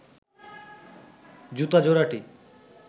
জুতা জোড়াটি